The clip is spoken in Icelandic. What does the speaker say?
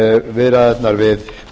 viðræðurnar við